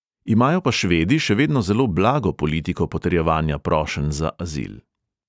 Imajo pa švedi še vedno zelo blago politiko potrjevanja prošenj za azil.